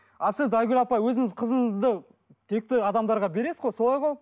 ал сіз айгүл апай өзіңіз қызыңызды текті адамдарға бересіз ғой солай ғой